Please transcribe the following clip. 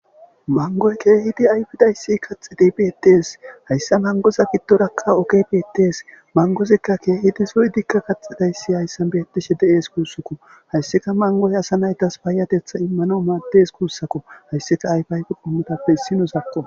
mangoy keehidi ayfidayssi kaxi de beettees hayssa mangoza giddorakka ogebeettees mangozikka keehidi suy dikka kaxidayssi hayssa beettishe deees kuussakko hayssika mangoy asa naytas baayatetha immano maaddes kuussakko hayssika ayfiayfi qummotappe issi nusakko